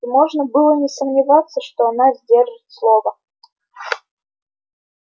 и можно было не сомневаться что она сдержит слово